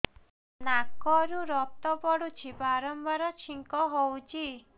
ନାକରୁ ରକ୍ତ ପଡୁଛି ବାରମ୍ବାର ଛିଙ୍କ ହଉଚି